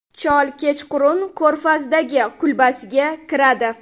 Chol kechqurun ko‘rfazdagi kulbasiga kiradi.